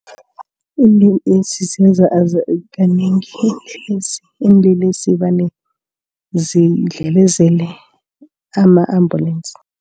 kanengi ziinlelesi vane zidlelezela ama-ambulance.